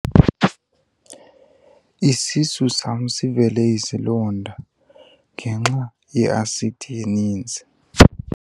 Isisu sam sivele izilonda ngenxa yeasidi eninzi.